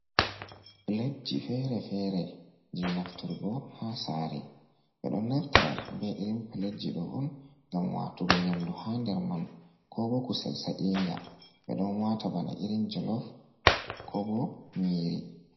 Pilet ji fere-fere, je nafturgo haa saare, ɓe ɗo naftira be irin pilet ji ɗo on ngam waatugo nyamdu ha nder man, ko bo kusel sa'inga, ɓe don waata bana irin jolof ko bo nyiri.